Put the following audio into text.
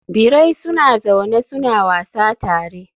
Birai suna zaune suna wasa tare.